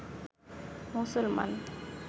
মুসলমান